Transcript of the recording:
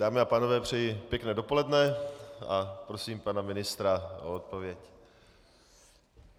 Dámy a pánové, přeji pěkné dopoledne a prosím pana ministra o odpověď.